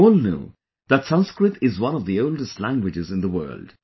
We all know that Sanskrit is one of the oldest languages in the world